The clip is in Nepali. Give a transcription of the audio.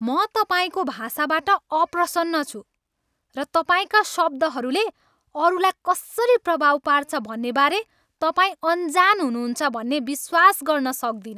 म तपाईँको भाषाबाट अप्रसन्न छु र तपाईँका शब्दहरूले अरूलाई कसरी प्रभाव पार्छ भन्नेबारे तपाईँ अनजान हुनुहुन्छ भन्ने विश्वास गर्न सक्दिनँ।